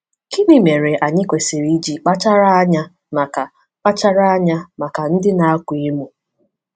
Gịnị mere anyị kwesịrị iji kpachara anya maka kpachara anya maka ndị na-akwa emo?